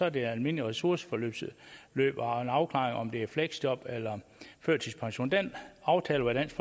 et almindeligt ressourceforløb med afklaring af om det er fleksjob eller førtidspension den aftale var dansk